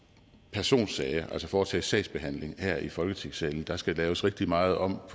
personsager altså foretage sagsbehandling her i folketingssalen der skal laves rigtig meget om